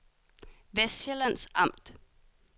Vestsjællands Amt